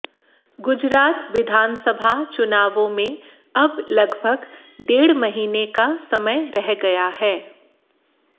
गुजरात विधानसभा चुनावों में अब लगभग डेढ़ महीने का समय रह गया है